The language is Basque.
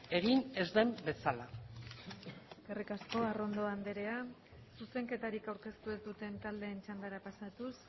egin ez den bezala eskerrik asko arrondo andrea zuzenketarik aurkeztu ez duten taldeen txandara pasatuz